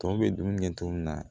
Tɔ bɛ dumuni kɛ cogo min na